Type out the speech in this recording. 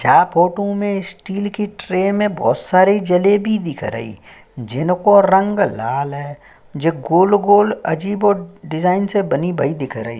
छा फोटू में स्टील की ट्रे में बहोत सारी जलेबी दिख रही जिनको रंग लाल है जे गोल गोल अजीबो डिज़ाइन से बनी भई दिख रहीं।